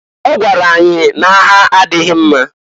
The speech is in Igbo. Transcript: Ọ gwara anyị n'agha adịghị mma.